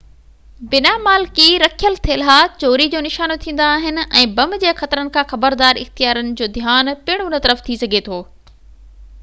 بنا مالڪي رکيل ٿيلها چوري جو نشانو ٿيندا آهن ۽ بم جي خطرن کان خبردار اختيارين جوڌيان پڻ ان طرف ٿي سگهي ٿو